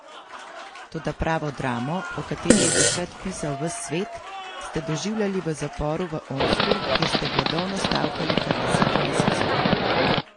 Toda pravo dramo, o kateri je takrat pisal ves svet, ste doživljali v zaporu v Omsku, kjer ste gladovno stavkali kar deset mesecev.